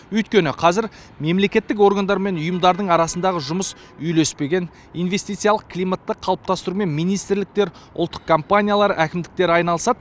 өйткені қазір мемлекеттік органдар мен ұйымдардың арасындағы жұмыс үйлеспеген инвестициялық климатты қалыптастырумен министрліктер ұлттық компаниялар әкімдіктер айналысады